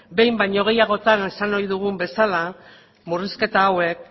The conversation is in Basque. behin baino gehiagotan esan ohi dugun bezala murrizketa hauek